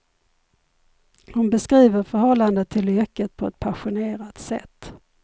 Hon beskriver förhållandet till yrket på ett passionerat sätt.